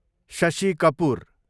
Shashi Kapoor